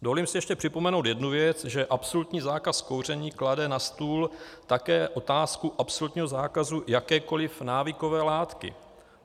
Dovolím si ještě připomenout jednu věc, že absolutní zákaz kouření klade na stůl také otázku absolutního zákazu jakékoli návykové látky.